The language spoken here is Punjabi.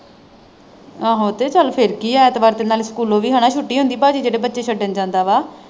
ਆਹੋ ਤੇ ਚੱਲ ਫਿਰ ਕੀ ਹੈੈ ਐਤਵਾਰ ਤੇ ਨਾਲੋ ਸਕੂਲੋਂ ਵੀ ਹਨਾਂ ਛੁੱਟੀ ਹੁੰਦੀ ਪਾਜੀ ਜਿਹੜੇ ਛੱਡਣ ਜਾਂਦਾ ਵਾ।